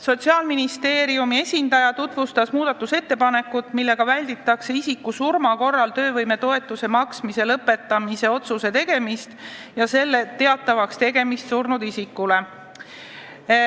Sotsiaalministeeriumi esindaja tutvustas muudatusettepanekut, millega seletuskirja kohaselt "välditakse isiku surma korral töövõimetoetuse maksmise lõpetamise otsuse tegemist ja selle teatavakstegemist surnud isikule".